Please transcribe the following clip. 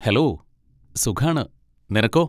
Hello, സുഖാണ്, നിനക്കോ?